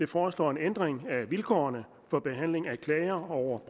foreslår en ændring af vilkårene for behandling af klager over